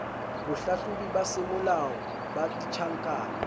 bohlahlobi ba semolao ba ditjhankane